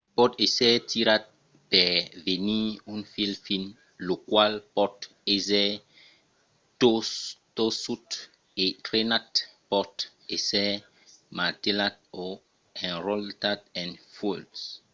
pòt èsser tirat per venir un fil fin lo qual pòt èsser torçut e trenat. pòt èsser martelat o enrotlat en fuèlhs